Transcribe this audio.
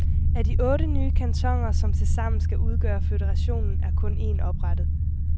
Af de otte nye kantoner, som tilsammen skal udgøre føderationen, er kun en oprettet.